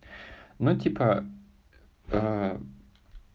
ну типа